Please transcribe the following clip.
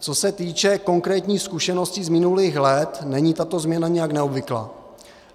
Co se týče konkrétních zkušeností z minulých let, není tato změna nijak neobvyklá.